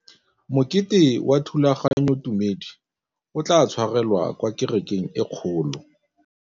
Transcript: Mokete wa thulaganyôtumêdi o tla tshwarelwa kwa kerekeng e kgolo.